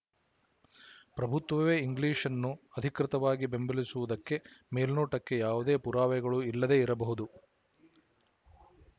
ಪ್ರಭುತ್ವವೇ ಇಂಗ್ಲಿಶ್‌ನ್ನು ಅಧಿಕೃತವಾಗಿ ಬೆಂಬಲಿಸುವುದಕ್ಕೆ ಮೇಲ್ನೋಟಕ್ಕೆ ಯಾವುದೇ ಪುರಾವೆಗಳು ಇಲ್ಲದೇ ಇರಬಹುದು